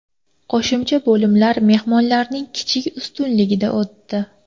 Qo‘shimcha bo‘limlar mehmonlarning kichik ustunligida o‘tdi.